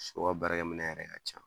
Sɔ baarakɛminɛ yɛrɛ ka ca